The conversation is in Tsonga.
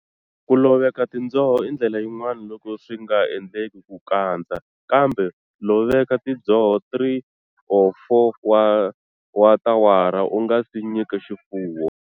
Ku loveka tindzoho i ndlela yin'wana loko swi nga endleki ku kandza, kambe loveka tindzoho 3-4 wa tawara u nga si nyika swifuwo.